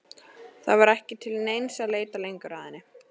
Það var ekki til neins að leita lengur að henni.